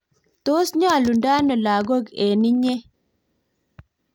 tos nyolundo ano lagoi eng inye?